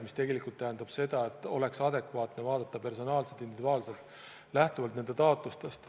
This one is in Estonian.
See tähendab tegelikult seda, et iga juhtumit tuleb vaadata personaalselt, individuaalselt, lähtuvalt taotlusest.